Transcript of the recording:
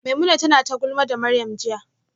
Maimuna tana ta gulma da Maryam jiya